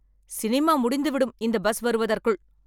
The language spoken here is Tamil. சினிமா முடிந்துவிடும் இந்த பஸ் வருவதற்குள்.